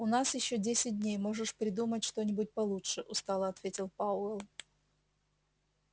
у нас ещё десять дней можешь придумать что-нибудь получше устало ответил пауэлл